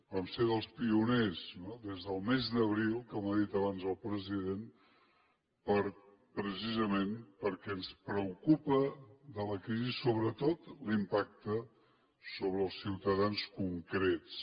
vam ser dels pioners no des del mes d’abril com ha dit abans el president precisament per·què ens preocupa de la crisi sobretot l’impacte sobre els ciutadans concrets